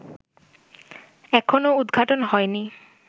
এখনো উদঘাটন হয়নি